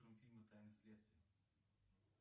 фильмы тайны следствия